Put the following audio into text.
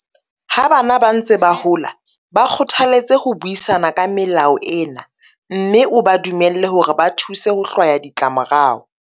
Ha bana ba ntse ba hola, ba kgothaletse ho buisana ka melao ena mme o ba dumelle hore ba thuse ho hlwaya ditlamorao.